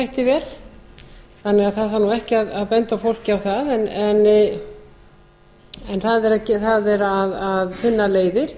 þætti vel þannig að það þarf nú ekki að benda fólki á það en það er að finna leiðir